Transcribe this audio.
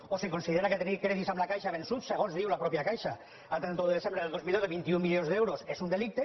o si considera que tenir crèdits amb la caixa vençuts segons diu la mateixa caixa a trenta un de desembre de dos mil deu de vint un milions d’euros és un delicte